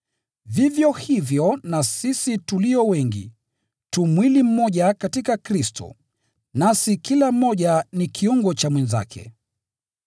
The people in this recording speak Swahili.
vivyo hivyo na sisi tulio wengi, tu mwili mmoja katika Kristo, nasi kila mmoja ni kiungo cha mwenzake.